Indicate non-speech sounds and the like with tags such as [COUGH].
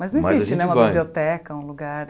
Mas não existe Mas a gente [UNINTELLIGIBLE] né uma biblioteca, um lugar...